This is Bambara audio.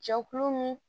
Jɛkulu min